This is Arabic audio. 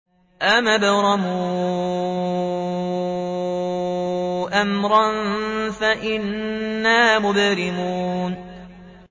أَمْ أَبْرَمُوا أَمْرًا فَإِنَّا مُبْرِمُونَ